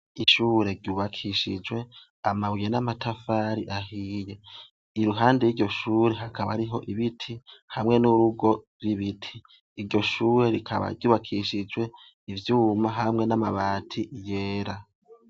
Ishure ryubakishijwe amabuye n'amatafari ahiye. Iruhande y'iryo shure iryo shure hakaba hariho ibiti hamwe n'urugo rw'ibiti. Iryo shure rikaba rikaba ryubakishije ivyuma hamwe n'amabati yera.